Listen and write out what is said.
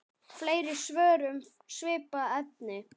Fleiri svör um svipað efni